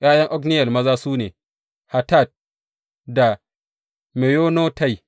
’Ya’yan Otniyel maza su ne, Hatat da Meyonotai.